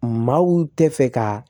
Maaw tɛ fɛ ka